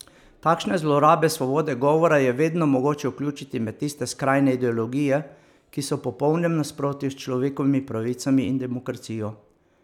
Takšne zlorabe svobode govora je vedno mogoče vključiti med tiste skrajne ideologije, ki so v popolnem nasprotju s človekovimi pravicami in demokracijo.